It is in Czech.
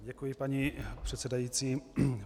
Děkuji, paní předsedající.